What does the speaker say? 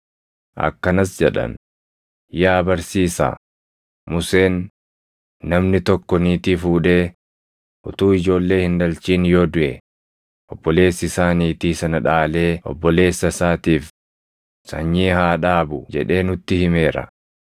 Akkanas jedhan; “Yaa barsiisaa, Museen, ‘Namni tokko niitii fuudhee utuu ijoollee hin dhalchin yoo duʼe obboleessi isaa niitii sana dhaalee obboleessa isaatiif sanyii haa dhaabu’ jedhee nutti himeera.